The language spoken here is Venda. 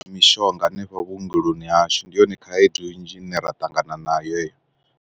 Mishonga hanefha vhuongeloni hashu ndi yone khaedu nnzhi ine ra ṱangana nayo heyo.